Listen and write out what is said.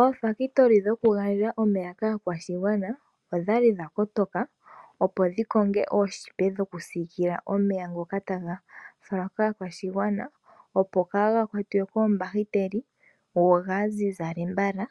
Oofabulika dhokugandja omeya kaakwashigwana odhali dhakotoka opo dhikoke ooshipa dhokusiikila komeya ngoka taga falwa kaakwashigwana , opo kaaga kwatwe koombahiteli , go gaazizale mbala,